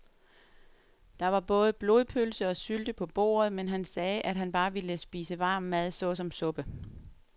Der var både blodpølse og sylte på bordet, men han sagde, at han bare ville spise varm mad såsom suppe.